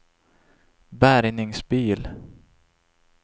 bärgningsbil